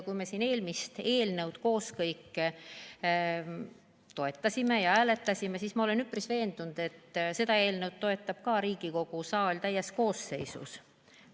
Kui me siin eelmist eelnõu koos kõik toetasime, siis ma olen üpris veendunud, et seda eelnõu toetab ka Riigikogu saal täies koosseisus.